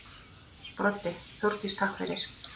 Broddi: Þórdís takk fyrir.